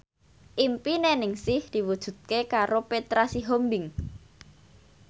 impine Ningsih diwujudke karo Petra Sihombing